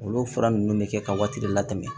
Olu fura nunnu bɛ kɛ ka waati de latɛmɛ